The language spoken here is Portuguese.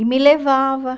E me levava.